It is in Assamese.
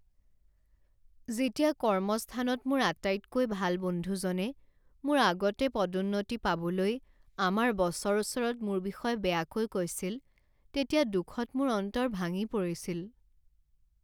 যেতিয়া কৰ্মস্থানত মোৰ আটাইতকৈ ভাল বন্ধুজনে মোৰ আগতে পদোন্নতি পাবলৈ আমাৰ বছৰ ওচৰত মোৰ বিষয়ে বেয়াকৈ কৈছিল তেতিয়া দুখত মোৰ অন্তৰ ভাঙি পৰিছিল।